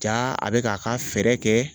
Jaa a bɛ k'a ka fɛrɛ kɛ